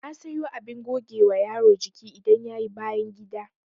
Na sayo abin gogewa yaro jiki idan yayi bayangida